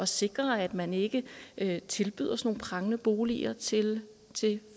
sikre at man ikke ikke tilbyder sådan nogle prangende boliger til